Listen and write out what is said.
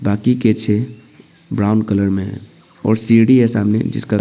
बाकी के छः ब्राउन कलर में है और सीढ़ी है सामने जिसका--